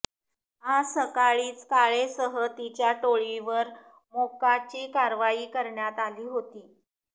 आज सकाळीच काळेसह तिच्या टोळीवर मोक्काची कारवाई करण्यात आली होती